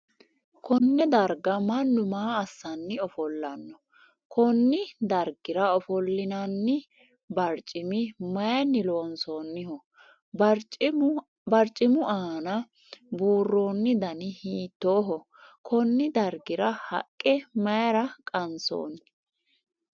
Konne darga Manu maa assanni ofolano? Konni dargira ofolinnanni barcimi mayinni loonsoonniho? Barcimu aanna buuroonni danni hiittooho? Konni dargira haqe mayira kaansoonni?